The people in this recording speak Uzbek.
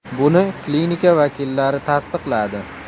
Buni klinika vakillari tasdiqladi.